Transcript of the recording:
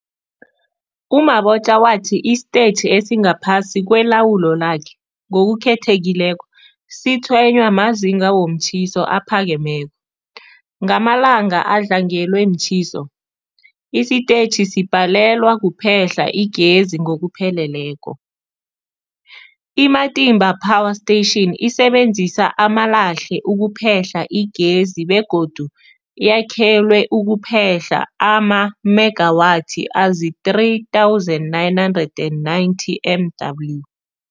U-Mabotja wathi isitetjhi esingaphasi kwelawulo lakhe, ngokukhethekileko, sitshwenywa mazinga womtjhiso aphakemeko. Ngamalanga adlangelwe mtjhiso, isitetjhi sibhalelwa kuphehla igezi ngokupheleleko. I-Matimba Power Station isebenzisa amalahle ukuphehla igezi begodu yakhelwe ukuphehla amamegawathi azii-3990 MW.